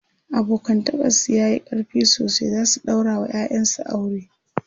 abokantakan su yayi ƙarfi sosai zasu daura wa ƴaƴan su aure ,they will marry thier children to each other